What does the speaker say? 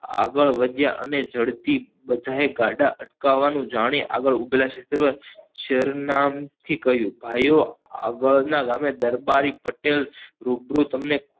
આગળ વધ્યા અને જડથી બધાએ ગાડી અટકાવવા નું જાણી આગળ ઉભેલા શેરનામ થી કહ્યું ભાઈઓ આગળ ના ગામે દરબારી પટેલ રૂબરૂ તમને